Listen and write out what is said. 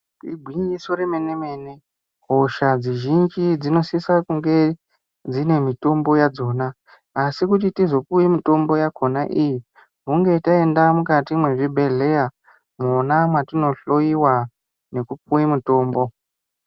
Igwinyiso remene-mene hosha dzizhinji dzinosisa kunge dzine mitombo yadzona asi kuti tizopuwe mitombo yakhona iyi hunge taenda mukati mwezvibhedhleya mwona mwatinohloiwa nekupuwe mitombo.